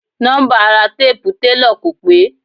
Nọ́mbà ara téèpu telọ̀ kò pé.